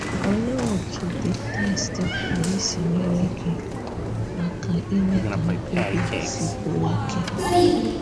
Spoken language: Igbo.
Òlee otú̀ the text pụrụ isi nyerè gị àka ime ka mkpebi a sikwuo ike?